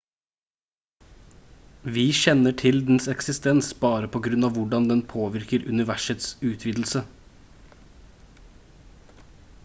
vi kjenner til dens eksistens bare på grunn av hvordan den påvirker universets utvidelse